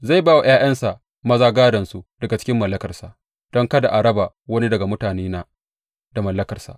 Zai ba wa ’ya’yansa maza gādonsu daga cikin mallakarsa, don kada a raba wani daga mutanena da mallakarsa.’